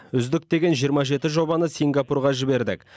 үздік деген жиырма жеті жобаны сингапурға жібердік